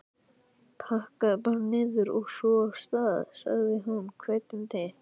Pakkaðu bara niður, og svo af stað! sagði hún hvetjandi.